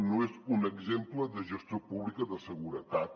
no és un exemple de gestió pública de seguretat